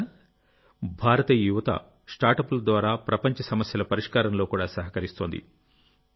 మిత్రులారాభారతీయ యువత స్టార్టప్ల ద్వారా ప్రపంచ సమస్యల పరిష్కారంలోకూడా సహకరిస్తోంది